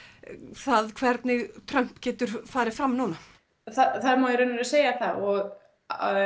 það hvernig Trump getur farið fram núna það má í raun og segja það og